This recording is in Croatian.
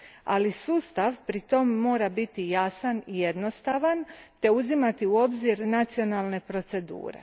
Ali, sustav pritom mora biti jasan i jednostavan te uzimati u obzir nacionalne procedure.